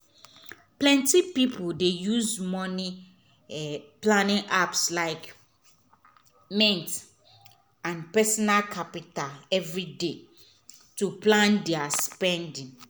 plenty people dey use money-planning apps like mint and personal capital every day to plan their spend.